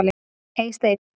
Eysteinn